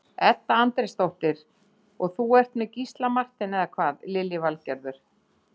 Edda Andrésdóttir: Og þú ert með Gísla Martein, eða hvað Lillý Valgerður?